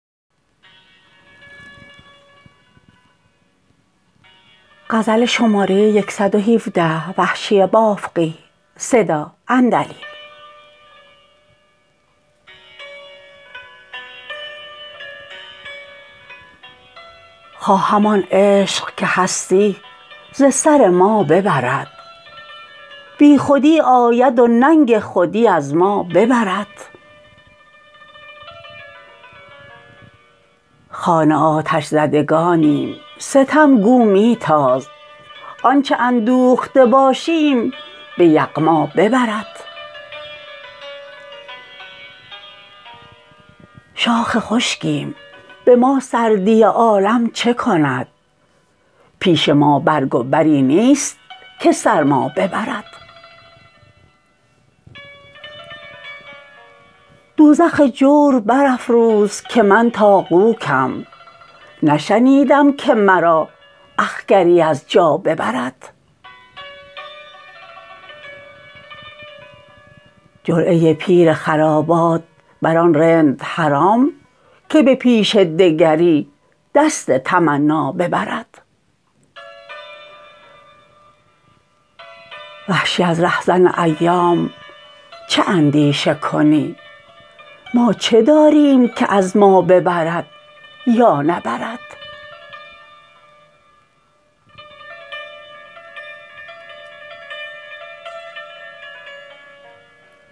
باده کو تا خرد این دعوی بیجا ببرد بیخودی آید و ننگ خودی از ما ببرد خانه آتش زدگانیم ستم گو می تاز آنچه اندوخته باشیم به یغما ببرد شاخ خشکیم به ما سردی عالم چه کند پیش ما برگ و بری نیست که سرما ببرد دوزخ جور برافروز که من تاقوکم نشنیدم که مرا اخگری از جا ببرد جرعه پیر خرابات بر آن رند حرام که به پیش دگری دست تمنا ببرد وحشی از رهزن ایام چه اندیشه کنی ما چه داریم که از ما نبرد یا ببرد